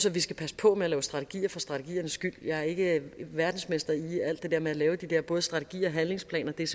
at vi skal passe på med at lave strategier for strategiernes skyld jeg er ikke verdensmester i alt det der med at lave de der både strategier og handlingsplaner det er